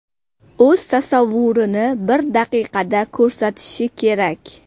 O‘z tasavvurini bir daqiqada ko‘rsatishi kerak.